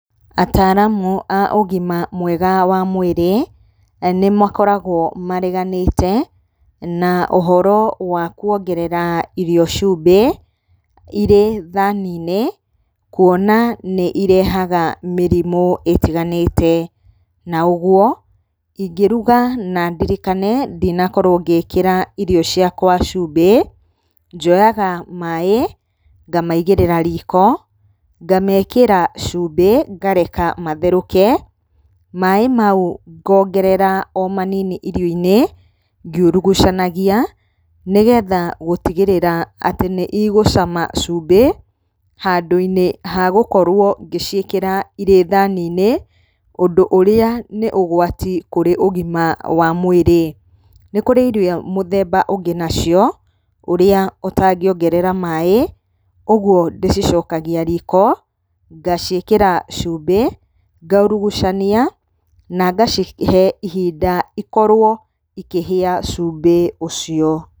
Ataaramu a ũgima mwega wa mwĩrĩ, nĩ makoragwo mareganĩte na ũhoro wa kuongerera irio cumbĩ irĩ thani-inĩ, kuona nĩ irehaga mĩrimũ ĩtiganĩte. Na ũguo, ingĩruga na ndirikane ndinakorwo ngĩkĩra irio ciakwa cumbĩ, njoyaga maĩ ngamaigĩrĩra riko, ngamekĩra cumbĩ ngareka matherũke. Maĩ mau ngongerera o manini irio-inĩ ngiurugucanagia, nĩgetha gũtigĩrĩra atĩ nĩ igũcama cumbĩ handũ-inĩ ha gũkorwo ngĩciĩkĩra irĩ thani-inĩ, ũndũ ũrĩa nĩ ũgwati kũrĩ ũgima wa mwĩrĩ. Nĩ kũrĩ irio mũthemba ũngĩ nacio, ũrĩa ũtangĩongerera maĩ, ũguo ndĩcicokagia riko, ngaciĩkĩra cumbĩ, ngaurugucania na ngacihe ihinda ikorwo ikĩhĩa cumbĩ ũcio.